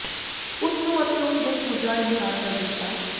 ਉਸ ਨੂੰ ਅਤੇ ਉਸ ਦੇ ਪੂਜਾ ਇਨਕਾਰ ਕਰ ਦਿੱਤਾ